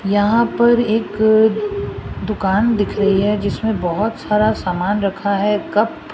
यहां पर एक दुकान दिख रही है जिसमें बहोत सारा सामान रखा है कप --